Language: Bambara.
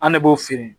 An ne b'o feere